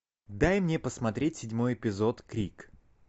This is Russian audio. дай мне посмотреть седьмой эпизод крик